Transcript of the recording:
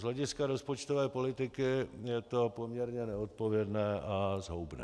Z hlediska rozpočtové politiky je to poměrně neodpovědné a zhoubné.